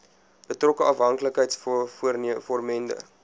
betrokke afhanklikheids vormende